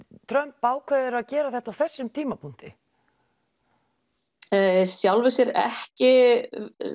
Trump ákveður að gera þetta á þessum tímapunkti í sjálfu sér ekki